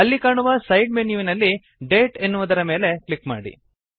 ಅಲ್ಲಿ ಕಾಣುವ ಸೈಡ್ ಮೆನ್ಯುವಿನಲ್ಲಿ ಡೇಟ್ ನ ಮೇಲೆ ಕ್ಲಿಕ್ ಮಾಡಿ